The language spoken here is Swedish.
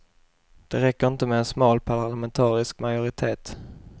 Det räcker inte med en smal parlamentarisk majoritet.